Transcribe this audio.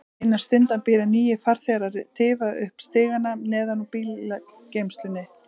Innan stundar byrja nýir farþegar að tifa upp stigana neðan úr bílageymslunni.